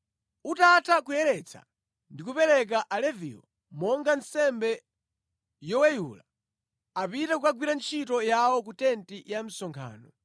“Utatha kuyeretsa ndi kupereka Aleviwo monga nsembe yoweyula, apite kukagwira ntchito yawo ku tenti ya msonkhano.